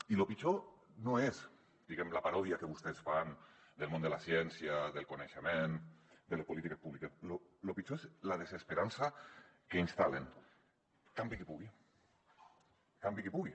i lo pitjor no és la paròdia que vostès fan del món de la ciència del coneixement de les polítiques públiques lo pitjor és la desesperança que instal·len campi qui pugui campi qui pugui